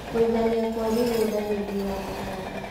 Kuigania Kwa mĩgũnda hĩndĩ ya mahanda